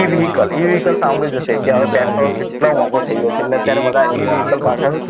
e vehicle e vehicle સાંભળી જ હશે કે હવે પેટ્રોલ કેટલું મોંઘુ થઈ ગ્યો છે એટલે અત્યારે બધા e vehicle પાછળ